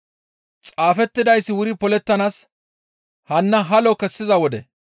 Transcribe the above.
Xaafettidayssi wuri polettanaas hanna halo kessiza wode.